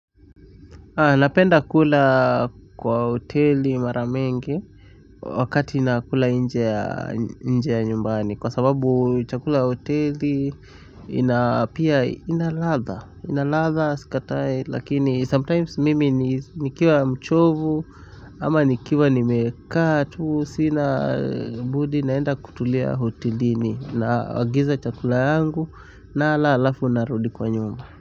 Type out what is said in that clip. Napenda kula kwa hoteli mara mengi wakati nakula nje ya nyumbani kwa sababu chakula hoteli ina inaladha sikatai lakini sometimes mimi nikiwa mchovu ama nikiwa nimekaa tuu sina budi naenda kutulia hotelini na agiza chakula yangu nala alafu narudi kwa nyumba.